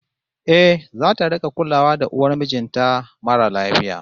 Eh, zata rik'a kulawa da uwar mijin ta mara lafiya